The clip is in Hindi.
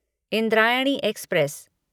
इंद्रायणी एक्सप्रेस